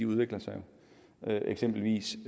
udvikler sig jo eksempelvis